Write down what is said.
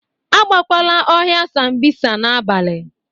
Agakwala ọhịa Sambisa n'abalị!